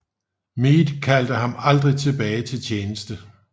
Meade kaldte ham aldrig tilbage til tjeneste